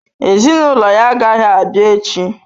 Ezinụlọ ya agaghị abịa echi.